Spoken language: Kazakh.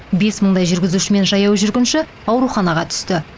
бес мыңдай жүргізуші мен жаяу жүргінші ауруханаға түсті